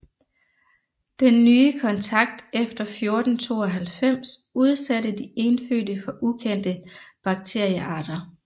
Den nye kontakt efter 1492 udsatte de indfødte for ukendte bakteriearter